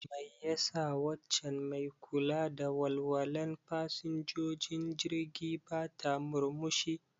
Mai ya sa waccan mai kula da walwalan fasinjojin jirgi bata murmushi?